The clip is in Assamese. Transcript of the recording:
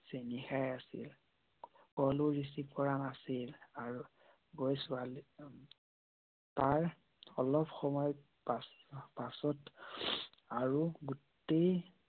চেনি খাই আছিল। কলো ৰিছিৱ কৰা নাছিল। আৰু গৈ ছোৱালীক তাৰ অলপ সময় পাছত আৰু গোটেই